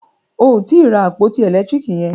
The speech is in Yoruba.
O ò tí ì ra àpótí ẹ̀lẹ́tírìkì yẹn.